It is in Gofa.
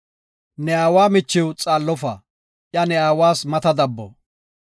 “Ne aawa michiw xaallofa; iya ne aawas mata dabbo.